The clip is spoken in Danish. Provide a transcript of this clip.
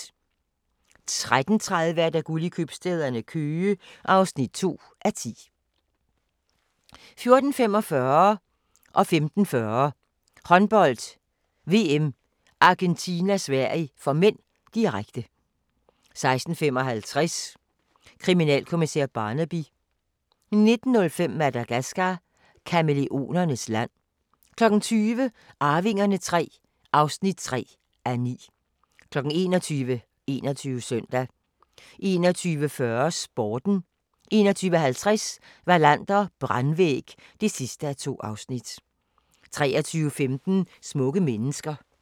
13:30: Guld i købstæderne - Køge (2:10) 14:45: Håndbold: VM - Argentina-Sverige (m), direkte 15:40: Håndbold: VM - Argentina-Sverige (m), direkte 16:55: Kriminalkommissær Barnaby 19:05: Madagascar – Kamæleonernes land 20:00: Arvingerne III (3:9) 21:00: 21 Søndag 21:40: Sporten 21:50: Wallander: Brandvæg (2:2) 23:15: Smukke mennesker